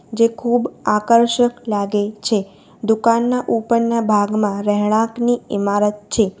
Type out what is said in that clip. જે ખૂબ આકર્ષક લાગે છે દુકાનના ઉપરના ભાગમાં રહેણાંકની ઇમારત છે.